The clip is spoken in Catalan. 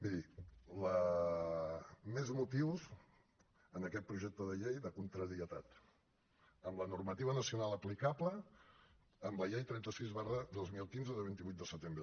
miri més motius en aquest projecte de llei de contrarietat amb la normativa nacional aplicable amb la llei trenta sis dos mil quinze de vint vuit de setembre